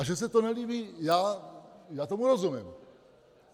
A že se to nelíbí - já tomu rozumím.